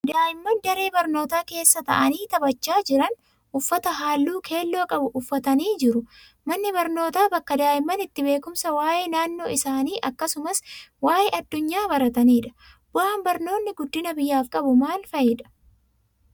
Daa'imman daree barnootaa keessa taa'anii taphachaa jiran, uffata halluu keelloo qabu uffatanii jiru. Manni barnootaa bakka daa'imman itti beekumsa waa'ee naannoo isaanii akkasumas waa'ee addunyaa baratanidha. Bu'aan barnoonni guddina biyyaaf qabu maal fa'idha?